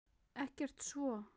Ekkert svo.